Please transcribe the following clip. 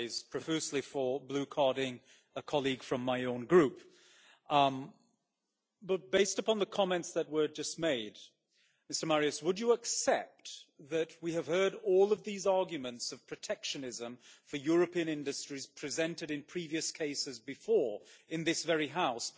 profusely for blue carding a colleague from my own group but, based upon the comments that have just been made, Mr Marias, would you accept that we have heard all of these arguments of protectionism for European industries presented in previous cases before in this very House?